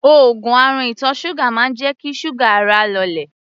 Òogùn àrùn ìtọ̀ ṣúgà máa ń jẹ́ kí ṣúgà ara lọlẹ̀.